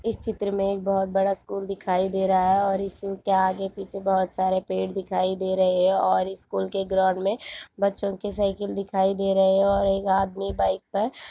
इस चित्र में एक बहोत बड़ा स्कुल दिखाय दे रहा है और इसके आगे पीछे बहोत सारे पेड़ दिखाई दे रहे है और इस स्कुल के ग्राउन्ड में बच्चों की सायकल दिखाय दे रहे है और एक आदमी बाइक पर --